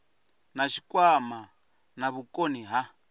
na tshikwama na vhukoni ha